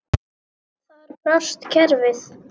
Þar brást kerfið.